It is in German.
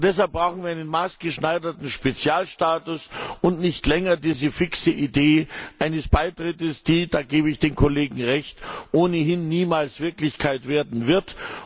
Deshalb brauchen wir einen maßgeschneiderten Spezialstatus und nicht länger diese fixe Idee eines Beitritts, die da gebe ich den Kollegen Recht ohnehin niemals Wirklichkeit werden wird.